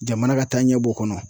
Jamana ka taaɲɛ b'o kɔnɔ.